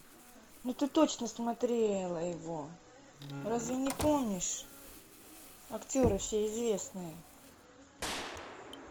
ну ты точно смотрела его разве не помнишь актеры все известные